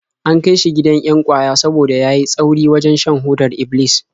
An kai shi gidan 'yan ƙwaya saboda ya yi tsauri wajen shan hodar Iblis.